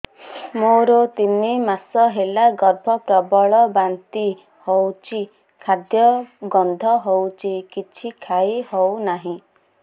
ମୋର ତିନି ମାସ ହେଲା ଗର୍ଭ ପ୍ରବଳ ବାନ୍ତି ହଉଚି ଖାଦ୍ୟ ଗନ୍ଧ ହଉଚି କିଛି ଖାଇ ହଉନାହିଁ